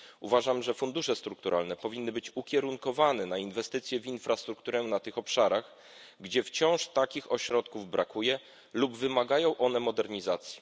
Uważam, że fundusze strukturalne powinny być ukierunkowane na inwestycje w infrastrukturę na tych obszarach, gdzie wciąż takich ośrodków brakuje lub wymagają one modernizacji.